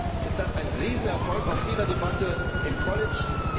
Insofern ist das ein Riesenerfolg auch Ihrer Debatte im Kollegium.